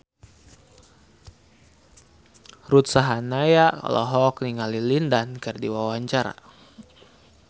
Ruth Sahanaya olohok ningali Lin Dan keur diwawancara